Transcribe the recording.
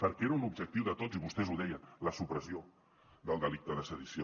perquè era un objectiu de tots i vostès ho deien la supressió del delicte de sedició